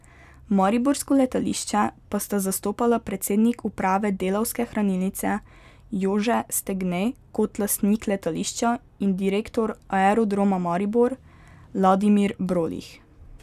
Mariborsko letališče pa sta zastopala predsednik uprave Delavske hranilnice Jože Stegne kot lastnik letališča in direktor Aerodroma Maribor Ladimir Brolih.